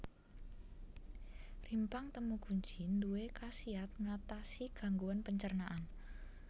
Rimpang temu kunci duwé khasiat ngatasi gangguan pencernaan